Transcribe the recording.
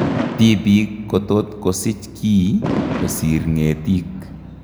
Tibik kotot kosich kii kosiir ng'etik